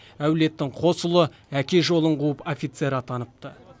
әулеттің қос ұлы әке жолын қуып офицер атаныпты